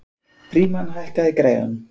Frímann, hækkaðu í græjunum.